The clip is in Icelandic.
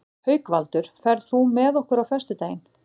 Haukvaldur, ferð þú með okkur á föstudaginn?